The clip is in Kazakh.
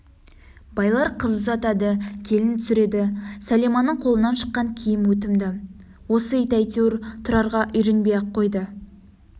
байлар қыз ұзатады келін түсіреді сәлиманың қолынан шыққан киім өтімді осы ит әйтеуір тұрарға үйренбей-ақ қойды